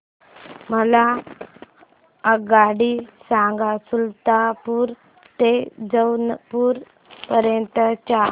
मला आगगाडी सांगा सुलतानपूर ते जौनपुर पर्यंत च्या